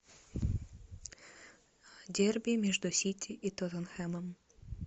дерби между сити и тоттенхэмом